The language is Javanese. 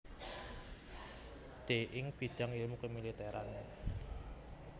D ing bidang ilmu kemiliteran